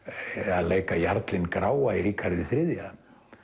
að leika jarlinn gráa í Ríkharði þrjú